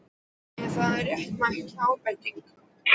Er það réttmæt ábending?